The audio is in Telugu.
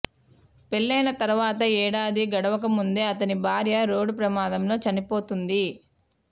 పెళ్లి అయిన తర్వాత ఏడాది గడవకముందే అతని భార్య రోడ్డు ప్రమాదంలో చనిపోతుంది